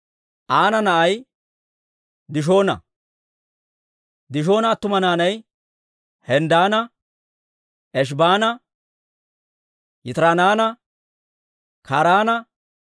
Aana na'ay Dishoona. Dishoona attuma naanay Hemddaana, Eshibaana, Yitiraananne Karaana.